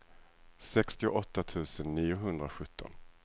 sextioåtta tusen niohundrasjutton